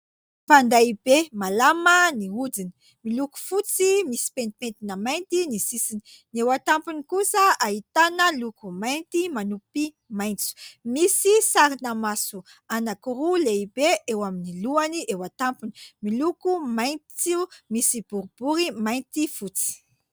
Fanday be malama ny hodiny. Miloko fotsy misy pentipentina mainty ny sisiny. Ny eo an-tampony kosa ahitana loko mainty manompy maitso. Misy sarina maso anankiroa lehibe eo amin'ny lohany eo an-tampony, miloko maitso, misy boribory mainty fotsy.